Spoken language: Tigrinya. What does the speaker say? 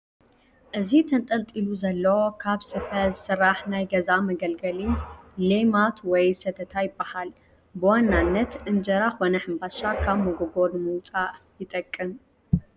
እዚ ተንጠልጢሉ ዘሎ ካብ ስፈ ዝስራሕ ናይ ገዛ መገልገሊ ሌማት ወይ ሰተታ ይበሃል፡፡ ብዋናነት እንጀራ ኮነ ሕንባሻ ካብ መጎጎ ንምውፃእ ይጠቅም፡፡